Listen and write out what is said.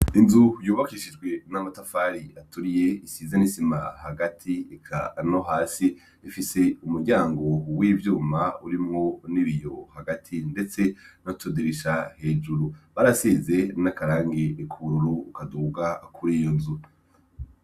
Inzu yubakishijwe n'amotafari aturiye isizan'isima hagati eka no hasi rifise umuryango huw'ivyuma urimwo n'ibiyo hagati, ndetse nacodurisha hejuru barasize n'akarangi ekuru ukaduga akura iyo nzu.